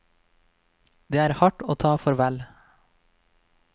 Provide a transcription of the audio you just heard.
Det er hardt å ta farvel.